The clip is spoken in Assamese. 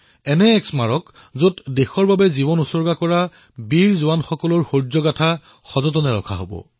এনেকুৱা এক স্মাৰক যত ৰাষ্ট্ৰৰ বাবে প্ৰাণ ত্যাগ কৰা বীৰ জোৱানসকলৰ শৌৰ্যবীৰ্যৰ গাঁথা সজাই ৰাখিব পাৰি